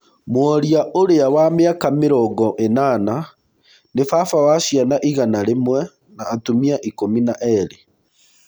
Mworia ũrĩa wa mĩaka mĩrongo ĩnana. Nĩ baba wa ciana igana rĩmwe na atumia ikũmi na erĩ.